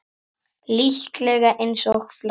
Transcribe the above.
Líklega eins og flestar konur.